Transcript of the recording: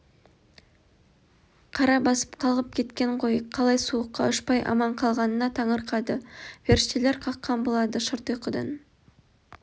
қара басып қалғып кеткен ғой қалай суыққа ұшпай аман қалғанына таңырқады періштелер қаққан болады шырт ұйқыдан